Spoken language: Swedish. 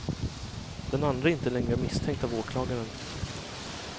Den andre är inte längre misstänkt av åklagaren.